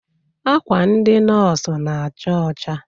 Akwa ndị nọs na-acha ọcha.